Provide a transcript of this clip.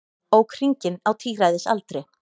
Ók hringinn á tíræðisaldri